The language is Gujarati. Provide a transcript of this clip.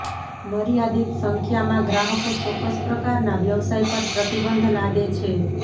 મર્યાદિત સંખ્યામાં ગ્રાહકો ચોક્કસ પ્રકારનાં વ્યવસાય પર પ્રતિબંધ લાદે છે